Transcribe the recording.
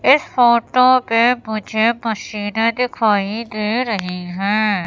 इस फोटो पे मुझे मशीनें दिखाई दे रही हैं।